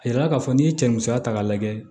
A yira k'a fɔ n'i ye cɛ musa k'a lajɛ